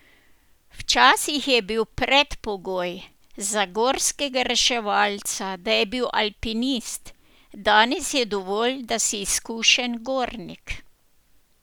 Včasih je bil predpogoj za gorskega reševalca, da je bil alpinist, danes je dovolj, da si izkušen gornik.